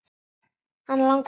Hann langar í kaffi.